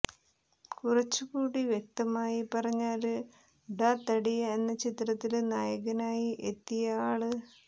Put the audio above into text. കുറച്ചുകൂടി വ്യക്തമായി പറഞ്ഞാല് ഡാ തടിയാ എന്ന ചിത്രത്തില് നായകനായി എത്തിയ ആള്